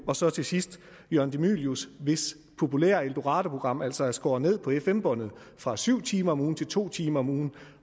og så til sidst jørgen de mylius hvis populære eldoradoprogram altså er skåret ned på fm båndet fra syv timer om ugen til to timer om ugen